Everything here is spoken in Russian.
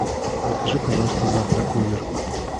закажи пожалуйста завтрак в номер